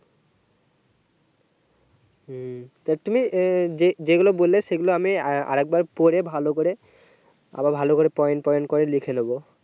হু তা তুমি যে যেগুলো বললে সেগুলো আমি আর একবার পরে ভালো করে আরো ভালো করে point point করে লিখে নেবো